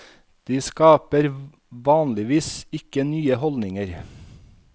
De skaper vanligvis ikke nye holdninger.